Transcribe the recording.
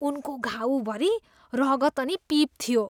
उनको घाउभरि रगत अनि पिप थियो।